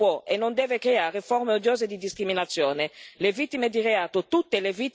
L'inadempienza degli Stati membri non può e non deve creare forme odiose di discriminazione.